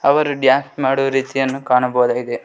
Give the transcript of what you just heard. ಅವರು ಡ್ಯಾನ್ಸ್ ಮಾಡುವ ರೀತಿಯನ್ನು ಕಾಣಬಹುದಾಗಿದೆ.